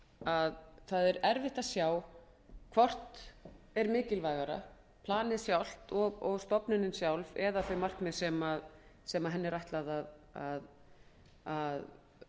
að það er erfitt að sjá hvort er mikilvægara planið sjálft og stofnunin sjálf eða þau markmið sem henni er ætlað að